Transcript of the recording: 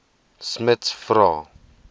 smuts vra